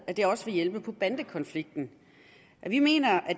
at det også vil hjælpe på bandekonflikten vi mener at